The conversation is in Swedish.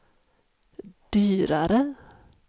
dyrare